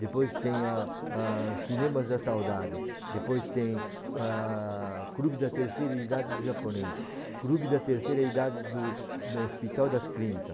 Depois tem ah ah Cinemas da Saudade, depois tem ah, Clube da Terceira Idade do Japonês, Clube da Terceira Idade do do Hospital das Clínicas.